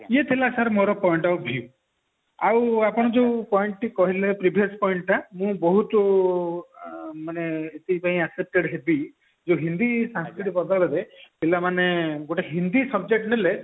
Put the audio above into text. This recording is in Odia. ଏଇ ଥିଲା ମୋର sir point of view ଆଉ ଆପଣ ଯୋଉ point ଟି କହିଲେ previous point ଟା ମୁଁ ବହୁତ ଆଁ ମାନେ ଏଥିପାଇଁ affected ହେବି ଯେ ହିନ୍ଦୀ ସଂସ୍କୃତ ବଦଳରେ ପିଲାମାନେ ଗୋଟେ ହିନ୍ଦୀ subject ନେଲେ